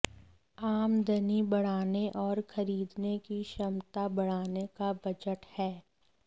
आमदनी बढ़ाने और खरीदने की क्षमता बढ़ाने का बजट है